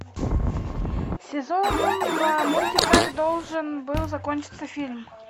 сезон два мультик как должен был закончиться фильм